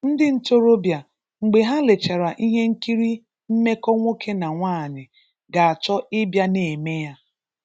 Ndị ntorobịa, mgbe ha lechara ihe nkiri mmekọ nwoke na nwanyị ga-achọ ịbịa na-eme ya.